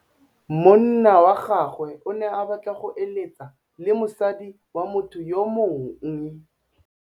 Monna wa gagwe o ne a batla go êlêtsa le mosadi wa motho yo mongwe.